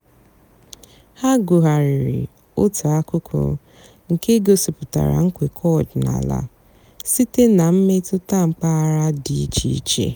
há gụ́ghàrị́rị́ ótú àkụ́kụ́ nkè gosìpụ́tárá ǹkwékọ̀ ọ̀dị́náàlà sìté nà m̀mètụ́tà m̀pàghàrà dị́ ìchè ìchè.